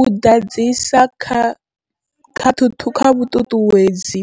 U ḓadzisa kha vhuṱuṱuwedzi